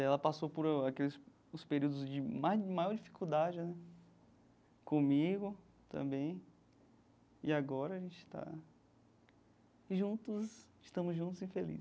Ela passou por aqueles os períodos de ma maior dificuldade né comigo também, e agora a gente está juntos, estamos juntos e